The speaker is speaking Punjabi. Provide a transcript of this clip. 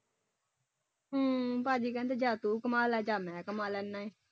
ਹਮ ਭਾਜੀ ਕਹਿੰਦੇ ਜਾਂ ਤੂੰ ਕਮਾ ਲਾ ਜਾਂ ਮੈਂ ਕਮਾ ਲੈਨਾ ਹੈ।